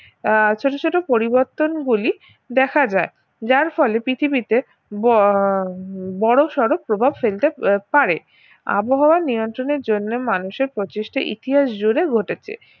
আহ ছোট ছোট পরিবর্তনগুলি দেখা যায় যার ফলে পৃথিবীতে ব~ বড়োসড়ো প্রভাব ফেলতে পারে আবহাওয়া নিয়ন্ত্রণের জন্য মানুষের প্রচেষ্টা ইতিহাসজুড়ে ঘটেছে